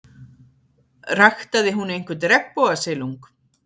Ræktaði hún einhvern regnbogasilung?